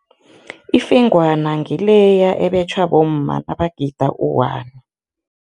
Ifengwana ngileya ebetjhwa bomma nabagida u-one.